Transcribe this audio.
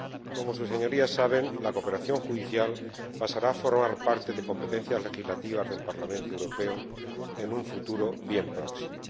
Como Sus Señorías saben, la cooperación judicial pasará a formar parte de competencias legislativas del Parlamento Europeo en un futuro bien próximo.